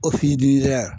O f'i lira